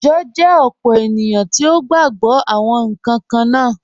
Ijọ jẹ opó ènìyàn tí o gba gbọ̀ awọn nkan kanna.